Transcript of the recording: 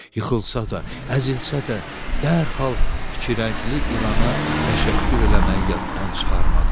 Yıxılsa da, əzilsə də, dərhal iki rəngli ilana təşəkkür eləməyi yaddan çıxarmadı.